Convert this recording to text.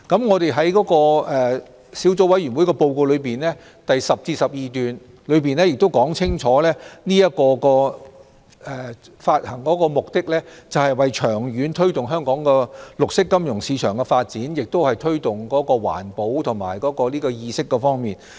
我們在小組委員會報告第10至12段，亦說明發行綠色債券的目的是為了長遠推動綠色金融市場的發展，以及推廣環保意識。